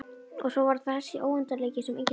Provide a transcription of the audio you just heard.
Og svo var það þessi óendanleiki sem enginn skildi.